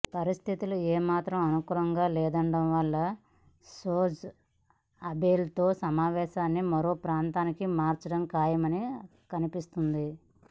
పరిస్థితులు ఏ మాత్రం అనుకూలంగా లేనందువల్ల షింజో అబేతో సమావేశాన్ని మరో ప్రాంతానికి మార్చడం ఖాయంగా కనిపిస్తోంది